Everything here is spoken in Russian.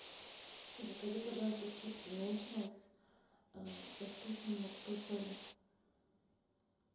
закажи пожалуйста чипсы нейчералс со вкусом морской соли